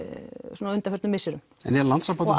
svona á undanförnum misserum en er Landssambandið